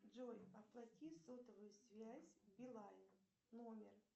джой оплати сотовую связь билайн номер